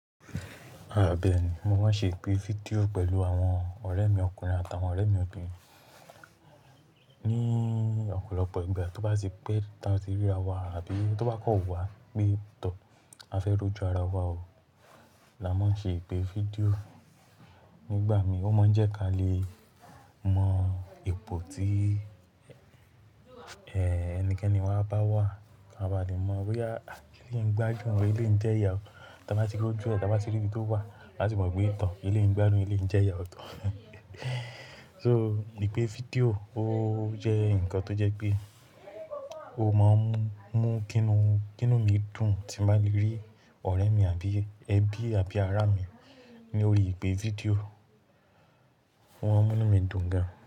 Àbẹ́ẹ̀ni, mo máa ń ṣe ìpè fídíò pẹ̀lú àwọn ọ̀rẹ́ mi ọkùnrin àtàwọn ọ̀rẹ́ mi obìnrin. Ní ọ̀pọ̀lọpọ̀ ìgbà tó bá ti pẹ́, táa ti ríra wa àbí tó bá kan wá pé tọ̀, a fẹ́ roju ara wa o, la máa ń ṣe ìpè fídíò. Nígbà mi ó máa ń jẹ́ kí a lè mọ ipò tí, ẹnikẹ́ni wa bá wà. A bá lè mọ̀ boya à eléyi n gbádùn eléyi ń jẹ́ya o. Ta bá ti rójú ẹ, ta bá ti rí ibi to wà, á ti mọ̀ pé to eleyi n gbádùn eleyi ń jẹ́ya o. So ìpè fídíò ó jẹ́ ǹkan tó jẹ́ pé o máa ń mú kí inú, kí inú mi dùn tí bá ti rí ọ̀rẹ́ mi àbí ẹbí àbí ará mi ní orí ìpè fídíò. Ó máa ń mú inú mi dùn gan.